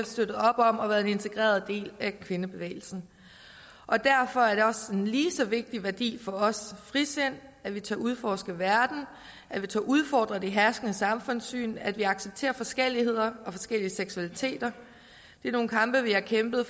støttet op om og været en integreret del af kvindebevægelsen og derfor er frisind også en lige så vigtig værdi for os at vi tør udforske verden at vi tør udfordre det herskende samfundssyn at vi accepterer forskelligheder og forskellige seksualiteter det er nogle kampe vi har kæmpet